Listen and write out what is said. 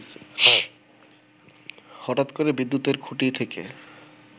হঠাৎ করে বিদ্যুতের খুঁটি থেকে